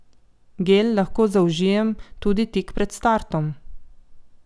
Gel lahko zaužijem tudi tik pred startom.